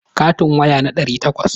Katin waya na ɗari takwas.